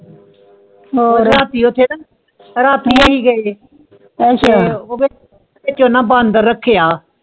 ਰਾਤੀ ਯੋਧੇ ਨਾ ਓਦੇ ਬਾਂਦਰ ਰਖ੍ਯ੍ਯਾ